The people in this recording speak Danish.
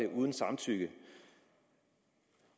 uden samtykke